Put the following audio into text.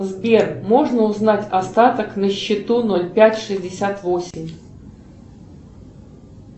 сбер можно узнать остаток на счету ноль пять шестьдесят восемь